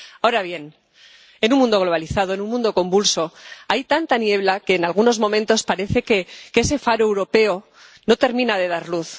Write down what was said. Ahora bien, en un mundo globalizado, en un mundo convulso, hay tanta niebla que, en algunos momentos, parece que ese faro europeo no termina de dar luz.